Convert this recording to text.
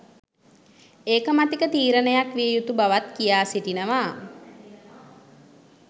ඒකමතික තීරණයක් විය යුතු බවත් කියා සිටිනවා.